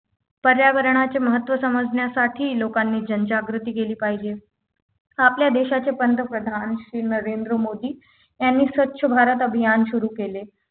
पर्यावरणाचे महत्त्व समजण्यासाठी लोकांनी जनजागृती केली पाहिजे आपल्या देशाचे पंतप्रधान श्री नरेंद्र मोदी यांनी स्वच्छ भारत अभियान सुरू केले